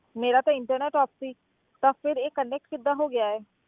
ਮੇਰਾ ਤਾਂ internet off ਸੀ ਤਾਂ ਫਿਰ ਇਹ connect ਕਿੱਦਾਂ ਹੋ ਗਿਆ ਹੈ